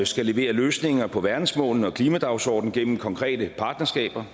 skal levere løsninger på verdensmålene og klimadagsordenen gennem konkrete partnerskaber